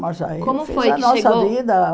Mas aí a nossa vida Como foi que chegou?